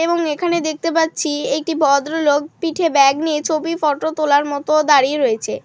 এবং এখানে দেখতে পাচ্ছি একটি ভদ্রলোক পিঠে ব্যাগ নিয়ে ছবি ফটো তোলার মতো দাঁড়িয়ে রয়েছে ।